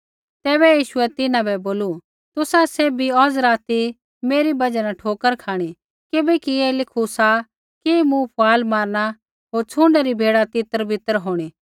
तैबै यीशुऐ तिन्हां बै बोलू तुसा सैभी औज़ राती मेरी बजहा न ठोकर खाँणी किबैकि ऐ लिखू सा कि मूँ फुआल मारना होर छ़ुण्डै री भेड़ा तितरबितर होंणी